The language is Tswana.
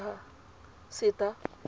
setha